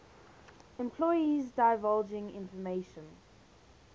employees divulging information